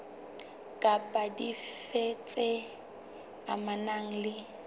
kapa dife tse amanang le